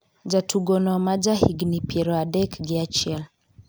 jatugono ma ja higni piero adek gi achiel